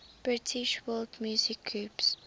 british world music groups